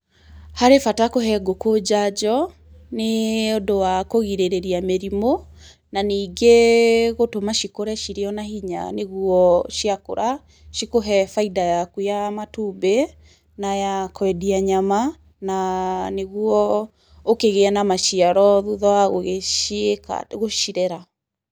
Harĩ bata kũhe ngũkũ njanjo, nĩũndũ wa kũgirĩrĩria mĩrimũ, na ningĩ gũtũma cikũre cirĩ ona hinya na nĩguo ciakũra, cikũre cikũhe bainda yaku ya matumbĩ, na ya kwendia nyama, na ya, nĩguo ũkĩgĩe na maciaro thutha wa gũgĩciĩka gũcirera.